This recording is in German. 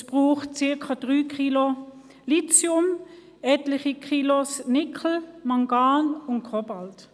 Es braucht ungefähr 3 Kilogramm Lithium, etliche Kilogramm Nickel, Mangan und Kobalt.